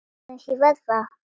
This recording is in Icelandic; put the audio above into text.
Ég tognaði aðeins í vöðva.